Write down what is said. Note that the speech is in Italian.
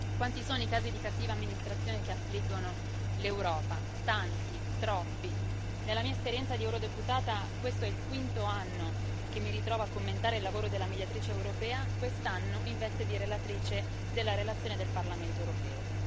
Quanti sono i casi di cattiva amministrazione che affliggono l'Europa? Tanti, troppi. Nella mia esperienza di eurodeputata questo è il quinto anno che mi ritrovo a commentare il lavoro della Mediatrice europea, quest'anno in veste di relatrice della relazione del Parlamento europeo.